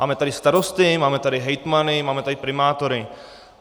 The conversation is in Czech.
Máme tady starosty, máme tady hejtmany, máme tady primátory.